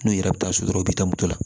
N'u yɛrɛ bɛ taa so dɔrɔn u bɛ taa moto la